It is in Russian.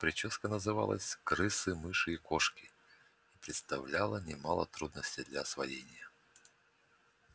причёска называлась крысы мыши и кошки и представляла немало трудностей для освоения